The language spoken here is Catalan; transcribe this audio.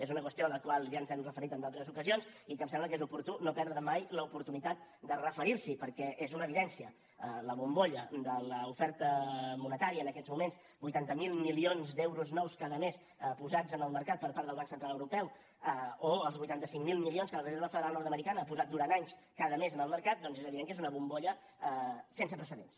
és una qüestió a la qual ja ens hi hem referit en d’altres ocasions i que em sembla que és oportú no perdre mai l’oportunitat de referir s’hi perquè és una evidència la bombolla de l’oferta monetària en aquests moments vuitanta miler milions d’euros nous cada mes posats en el mercat per part del banc central europeu o els vuitanta cinc mil milions que la reserva federal nord americana ha posat durant anys cada mes en el mercat doncs és evident que és una bombolla sense precedents